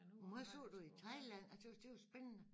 Hvor meget så du i Thailand jeg tøs det jo spændende